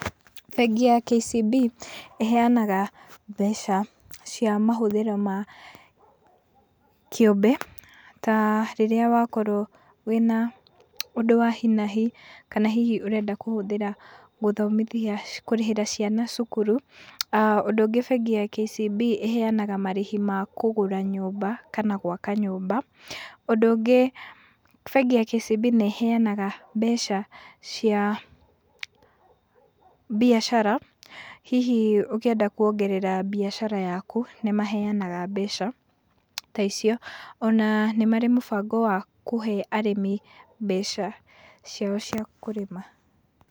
Bengi ya KCB ĩheaga mbeca cia mahũthĩro ma kĩũmbe ta rĩrĩa wakorwo wĩ na ũndũ wa hi na hi, kana hihi ũrenda gũthomithia kũrĩhĩra ciana cũkũrũ. aah Ũndũ ũngĩ, bengi ya KCB ĩheanaga marĩhi ma kũgũra nyũmba kana gwaka nyũmba. Ũndũ ũngĩ, bengi ya KCB nĩĩheanaga mbeca cia mbiacara hihi ũkĩenda kũongerera mbiacara yakũ, nĩmaheanaga mbeca ta icio, ona nĩ marĩ mũbango wa kũhe arĩmi mbeca ciao cia kũrĩma.